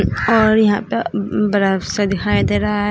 और यहां प मम बरफ सा दिखाई दे रहा है।